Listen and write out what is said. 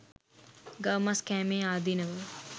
ගව මස් කෑමේ ආදීනව